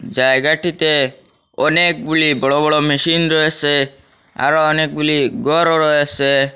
জায়গাটিতে অনেকগুলি বড় বড় মেশিন রয়েছে আরো অনেকগুলি ঘরও রয়েছে।